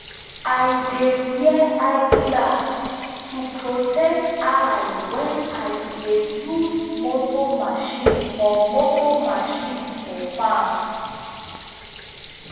i dey wear eye glass to protect eye when i dey use motor machine for motor machine for farm.